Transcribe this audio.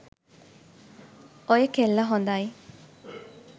ඔය කෙල්ල හොඳයි.